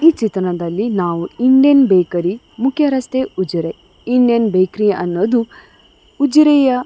ಈ ಚಿತ್ರಣದಲ್ಲಿ ನಾವು ಇಂಡಿಯನ್ ಬೇಕರಿ ಮುಖ್ಯ ರಸ್ತೆ ಉಜಿರೆ ಇಂಡಿಯನ್ ಬೇಕರಿ ಅನ್ನೋದು ಉಜಿರೆಯ --